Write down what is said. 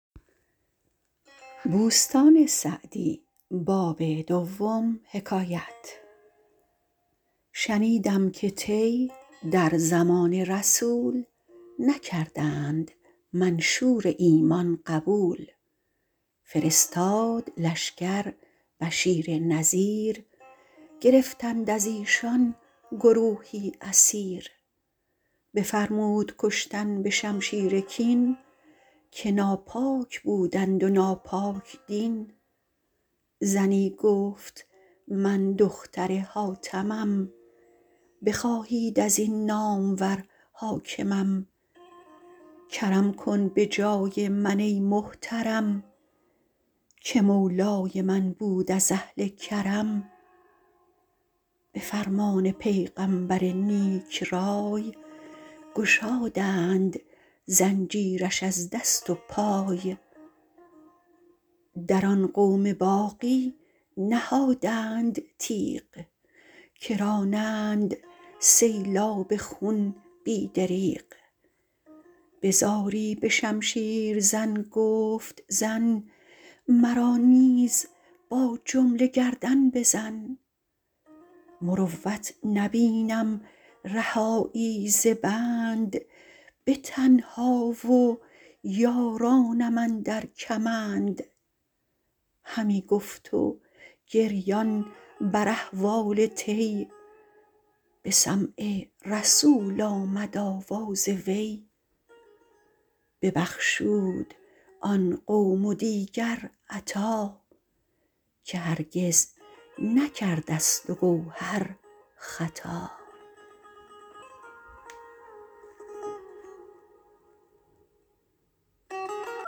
شنیدم که طی در زمان رسول نکردند منشور ایمان قبول فرستاد لشکر بشیر نذیر گرفتند از ایشان گروهی اسیر بفرمود کشتن به شمشیر کین که ناپاک بودند و ناپاک دین زنی گفت من دختر حاتمم بخواهید از این نامور حاکمم کرم کن به جای من ای محترم که مولای من بود از اهل کرم به فرمان پیغمبر نیک رای گشادند زنجیرش از دست و پای در آن قوم باقی نهادند تیغ که رانند سیلاب خون بی دریغ به زاری به شمشیر زن گفت زن مرا نیز با جمله گردن بزن مروت نبینم رهایی ز بند به تنها و یارانم اندر کمند همی گفت و گریان بر احوال طی به سمع رسول آمد آواز وی ببخشود آن قوم و دیگر عطا که هرگز نکرد اصل و گوهر خطا